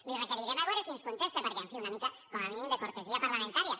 li requerirem a veure si ens contesta perquè en fi una mica com a mínim de cortesia parlamentària